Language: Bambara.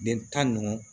Den tan ni duuru